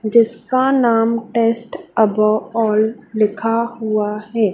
जिसका नाम taste above all लिखा हुआ है।